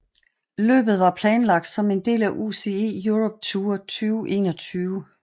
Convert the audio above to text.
Løbet var planlagt som en del af UCI Europe Tour 2021